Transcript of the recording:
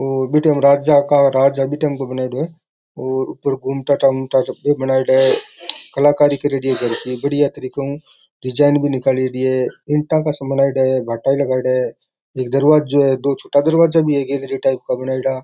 औ बि टाइम राजा का राज बि टाइम का बनायेडो है और ऊपर घूमता बनायेडो है कलाकारी करेड़ी है बढ़िया तरीका हु डिजाइन भी निकालेड़ी है ईंटा का सा बनेड़ा है भाटा लगायेडा है एक दरवाजो है दो छोटा दरवाजा भी दिखे है गैलरी टाइप का बनेड़ा।